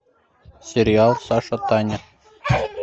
сериал сашатаня